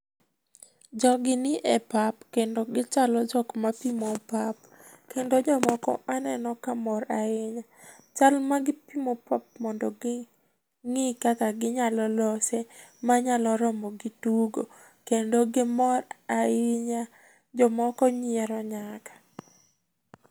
Jogi ni e pap kendo kichalo jok ma pimo pap. Kendo jomoko aneno ka mor ahinya. Chal ma gipimo pap mondo ging'i kaka ginyalo lose ma nyalo romogi tugo. Kendo gimor ahinya. Jomoko nyiero nyaka.